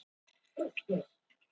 Unnarsdal